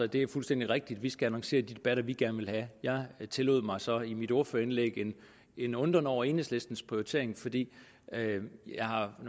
det er fuldstændig rigtigt vi skal annoncere de debatter vi gerne vil have jeg tillod mig så i mit ordførerindlæg en undren over enhedslistens prioritering fordi jeg